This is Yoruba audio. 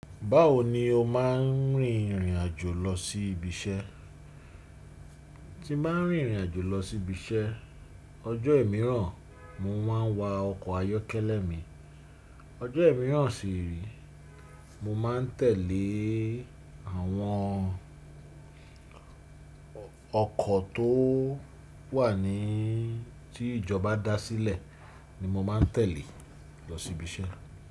Báwo ni o máà ń rìnrìn àjò lọ sí ibi iṣẹ́? Ti bá ń rìnrìn àjò lọ sí ibi iṣẹ́, ọjọ́ ẹ̀míràn mo máa ń wa ọkọ̀ ayọ́kẹ́lẹ́ mi. Ọjọ́ ẹ̀míràn ṣi rè é, mo máa ń tẹ̀lé àwọn ọkọ̀ tó wà ní tí ìjọba dá sílẹ̀ ni mo máa ń tẹ̀lé lọ sí ibi iṣẹ́.